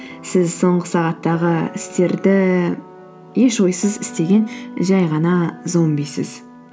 сіз соңғы сағаттағы істерді еш ойсыз істеген жай ғана зомбисіз